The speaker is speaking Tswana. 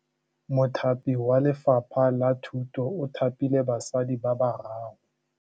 Mothapi wa Lefapha la Thutô o thapile basadi ba ba raro.